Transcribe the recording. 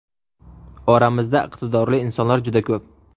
Oramizda iqtidorli insonlar juda ko‘p.